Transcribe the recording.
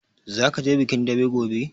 Zaka je bikin daɓe gobe?